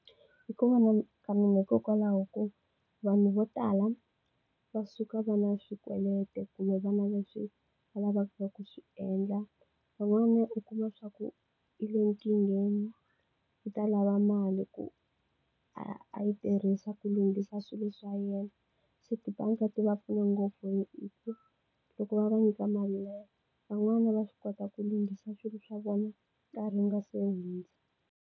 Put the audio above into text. Hi ku vona ka mina hikokwalaho ko vanhu vo tala va suka va ri na swikweleti kumbe va ri na leswi va lavaka ku swi endla. Van'wanyana u kuma leswaku u le nkingheni, u ta lava mali ku a a yi tirhisa ku lunghisa swilo swa yena. Se tibanga ti va pfuna ngopfu hi loko va va nyika mali leyi, van'wana va swi kota ku lunghisa swilo swa vona nkarhi nga se hundza.